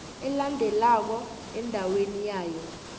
elandelako endaweni yayo